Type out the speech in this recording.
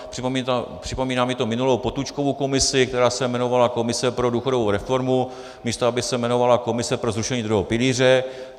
Připomíná mi to minulou Potůčkovu komisi, která se jmenovala komise pro důchodovou reformu, místo aby se jmenovala komise pro zrušení druhého pilíře.